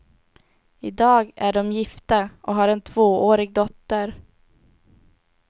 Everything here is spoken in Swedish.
I dag är de gifta och har en tvåårig dotter.